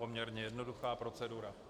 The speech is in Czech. Poměrně jednoduchá procedura.